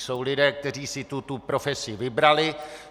Jsou lidé, kteří si tuto profesi vybrali.